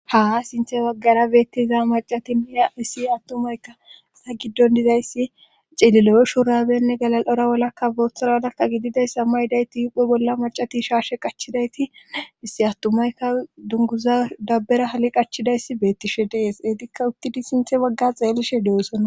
Haa sinthe waggara beettiza macati mia hissi attumayka sa giddon dizayssi ceeliloyo shuurabenne galal7ora wolakka boothoradakka gididayssa ma ydayti yuphe bolla macati shaarshe qachidayti issi attumayka dunguza dabbera hali qachidayssi beettishe dees eetikka uttidi sinthe wagga xeellishe oson'ona